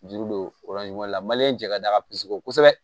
Juru don la jɛgɛ ka d'a ka pizɔn kosɛbɛ